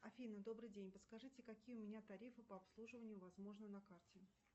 афина добрый день подскажите какие у меня тарифы по обслуживанию возможны на карте